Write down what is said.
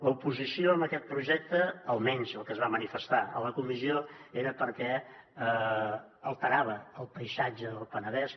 l’oposició a aquest projecte almenys el que es va manifestar a la comissió era perquè alterava el paisatge del penedès